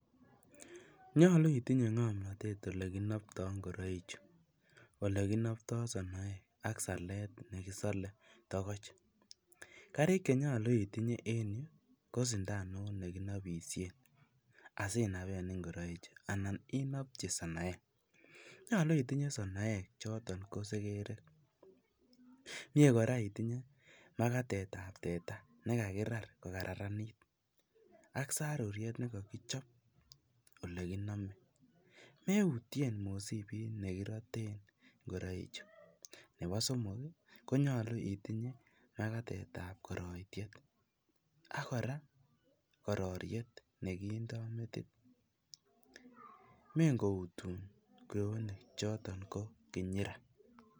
Nyalu itinye ngomnatet ole kinaptoi ngoraichu, ole kinaptoi sonoek ak salet negisale togoch. Karik che nyalu itinye en yu, ko sindanut ne ginabisien asinapen ingoraik anan inapchi sonoek. Nyalu itinye sonoek choton ko segerek. Mie kora itinye magatetab teta nekagirar kogararanit ak saruriet negakichop oleginame. Meutien mosipit negiroten ingoraichu. Nebo somok konyalu itinye magatetab ngoritiet ak kora, kororiet neginda metit. Mengoutun kweonik choton ko kinyira.